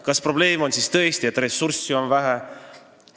Kas probleem on tõesti see, et ressurssi on vähe?